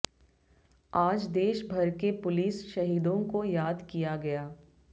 आज देश भर के पुलिस शहीदों को याद किया गया